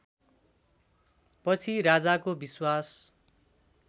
पछि राजाको विश्वास